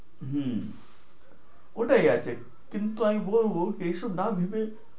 হু, ওটাই আছে। কিন্তু আমি বলবো যে এইসব না ভেবে